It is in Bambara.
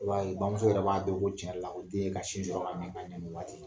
bamuso yɛrɛ b'a dɔn ko cɛn yɛrɛ la ko den ye ni waati.